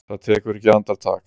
Það tekur ekki andartak.